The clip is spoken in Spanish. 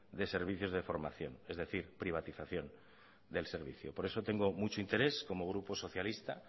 de servicios de formación es decir privatización del servicio por eso tengo mucho interés como grupo socialista